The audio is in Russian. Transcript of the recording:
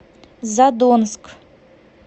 задонск